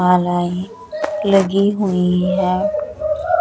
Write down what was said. मालाये लगी हुई है।